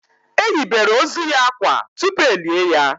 E yibere ozu ya akwa tupu e lié ya